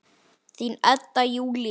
Þín, Edda Júlía.